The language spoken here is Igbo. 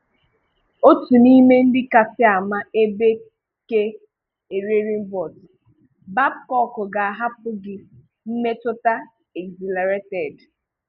Otu n’ime ndị kasị ama ebe ke Ererimbòt, Bangkok ga-ahàpụ̀ gị mmetùta exhìlàrèted.